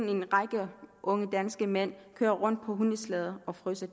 en række unge danske mænd kører rundt deroppe på hundeslæder og fryser